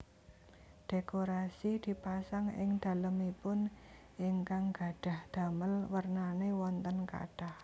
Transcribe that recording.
Dhékorasi dipasang ing dhalemipun ingkang gadhah dhamel wernané wonten kathah